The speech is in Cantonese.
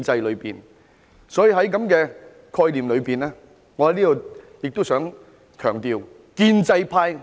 所以，在這個概念下，我亦想在此強調，建制派......